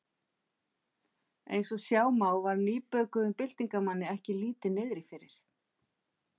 Eins og sjá má var nýbökuðum byltingarmanni ekki lítið niðri fyrir.